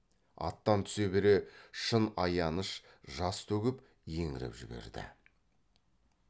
аттан түсе бере шын аяныш жас төгіп еңіреп жіберді